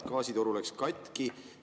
Gaasitoru läks katki.